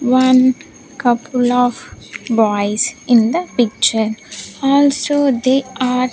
One couple of boys in the picture also they are--